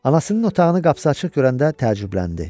Anasının otağının qapısı açıq görəndə təəccübləndi.